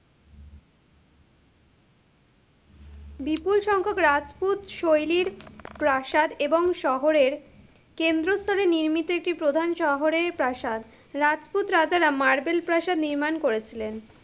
বিপুল সংখ্যক রাজপুত শৈলীর, প্রাসাদ এবং শহরের, কেন্দ্রস্থলে নির্মিত একটি প্রধান শহরের প্রাসাদ, রাজপুত রাজারা মার্বেল প্রাসাদ নির্মাণ করেছিলেন।